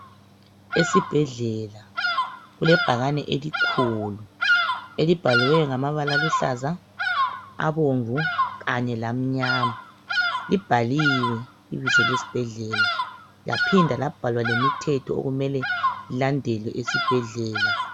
Esibhedlela kulebhakane elikhulu , elibhaliweyo ngamabala aluhlaza ,abomvu kanye lamnyama . Libhaliwe ibizo lesibhedlela laphinda labhalwa lemithetho okumele ilandelwe esibhedlela.